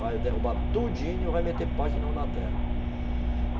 Vai derrubar tudinho e vai meter pasto de novo na terra.